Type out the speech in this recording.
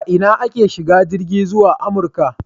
A ina ake shiga jirgi zuwa Amurka?